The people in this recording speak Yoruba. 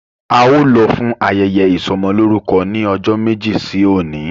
Ao lo fún ayẹyẹ isomoloruko ní ọjọ méjì sí oní